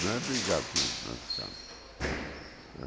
Não é obrigado a ficar